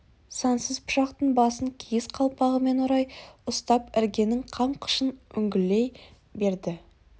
сансыз пышақтың басын киіз қалпағымен орай ұстап іргенің қам қышын үңгілей берді